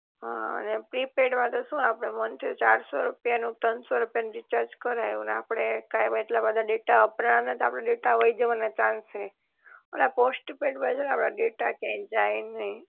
હ અને પ્રીપેડ માં તો શું આપડે મંથે ચારસો રૂપિયા નું કે તનસો રૂપિયા નું રીચાર્જ કરાવ્યું ને આપડે કાયમ આટલા બધા ડેટા વપરાવના નહિ તો આપડે ડેટા વય જવાના ચાન્સ રે ઓલા પોસ્ટપેડ માં છે ને આપડા ડેટા કયાય જાઇ નઇ